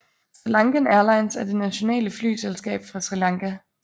SriLankan Airlines er det nationale flyselskab fra Sri Lanka